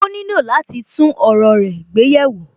Ó nílò láti tún ọ̀rọ̀ rẹ gbé yẹ̀ wò